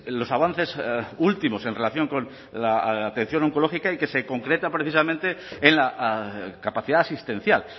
los avances últimos en relación con la atención oncológica y que se concreta precisamente en la capacidad asistencial